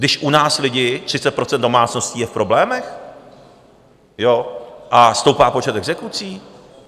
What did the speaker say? Když u nás lidi, 30 % domácností, je v problémech a stoupá počet exekucí?